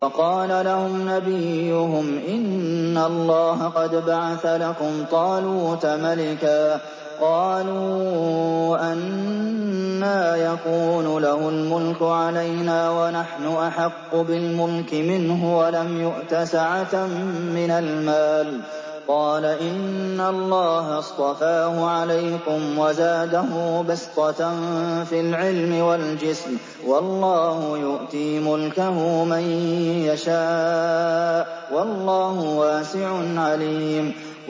وَقَالَ لَهُمْ نَبِيُّهُمْ إِنَّ اللَّهَ قَدْ بَعَثَ لَكُمْ طَالُوتَ مَلِكًا ۚ قَالُوا أَنَّىٰ يَكُونُ لَهُ الْمُلْكُ عَلَيْنَا وَنَحْنُ أَحَقُّ بِالْمُلْكِ مِنْهُ وَلَمْ يُؤْتَ سَعَةً مِّنَ الْمَالِ ۚ قَالَ إِنَّ اللَّهَ اصْطَفَاهُ عَلَيْكُمْ وَزَادَهُ بَسْطَةً فِي الْعِلْمِ وَالْجِسْمِ ۖ وَاللَّهُ يُؤْتِي مُلْكَهُ مَن يَشَاءُ ۚ وَاللَّهُ وَاسِعٌ عَلِيمٌ